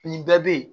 Nin bɛɛ bɛ yen